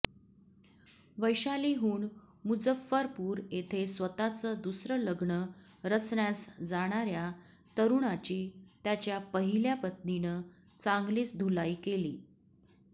वैशालीहून मुझफ्फरपूर येथे स्वतःचं दुसरं लग्न रचण्यास जाणाऱ्या तरुणाची त्याच्या पहिल्या पत्नीनं चांगलीच धुलाई केली